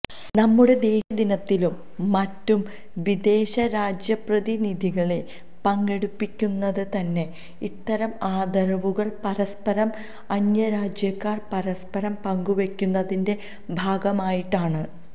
നമ്മുടെ ദേശീയദിനത്തിലും മറ്റും വിദേശ രാജ്യപ്രതി നിധികളെ പങ്കെടുപ്പിക്കുന്നത് തന്നെ ഇത്തരം ആദരവുകൾ പരസ്പരം അന്യരാജ്യക്കാർ പരസ്പരം പങ്കുവെക്കുന്നതിന്റെ ഭാഗമായിട്ടാണ്